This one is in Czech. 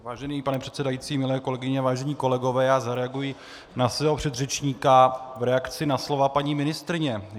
Vážený pane předsedající, milé kolegyně, vážení kolegové, já zareaguji na svého předřečníka v reakci na slova paní ministryně.